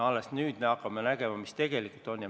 Alles nüüd hakkame nägema, mis tegelikult on.